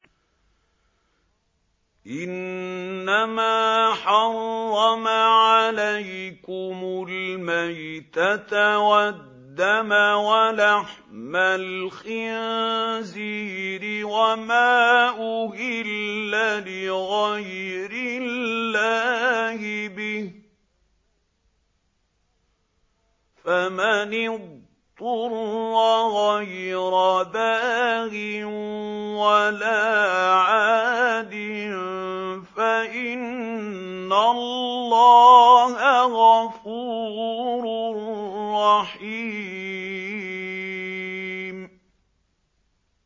إِنَّمَا حَرَّمَ عَلَيْكُمُ الْمَيْتَةَ وَالدَّمَ وَلَحْمَ الْخِنزِيرِ وَمَا أُهِلَّ لِغَيْرِ اللَّهِ بِهِ ۖ فَمَنِ اضْطُرَّ غَيْرَ بَاغٍ وَلَا عَادٍ فَإِنَّ اللَّهَ غَفُورٌ رَّحِيمٌ